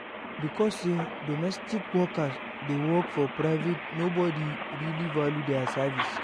Because sey domestic worker dey work for private nobodi really value their services